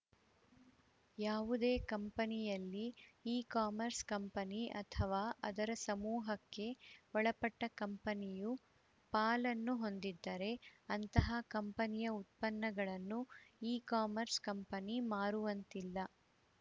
ಯಾವುದೇ ಕಂಪನಿಯಲ್ಲಿ ecommerce company ಅಥವಾ ಅದರ ಸಮೂಹಕ್ಕೆ ಒಳಪಟ್ಟಕಂಪನಿಯು ಪಾಲನ್ನು ಹೊಂದಿದ್ದರೆ ಅಂತಹ ಕಂಪನಿಯ ಉತ್ಪನ್ನಗಳನ್ನು ಇಕಾಮರ್ಸ್‌ ಕಂಪನಿ ಮಾರುವಂತಿಲ್ಲ